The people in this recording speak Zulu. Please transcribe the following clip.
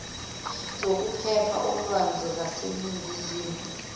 zokuphepha olwandle zaseningizimu